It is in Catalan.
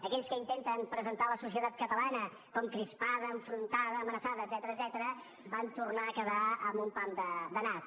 aquells que intenten presentar la societat catalana com crispada enfrontada amenaçada etcètera van tornar a quedar amb un pam de nas